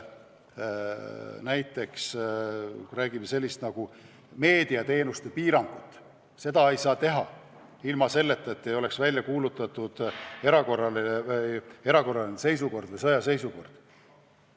Näiteks meediateenuste piirangut ei saa kehtestada ilma, et oleks välja kuulutatud erakorraline seisukord või sõjaseisukord.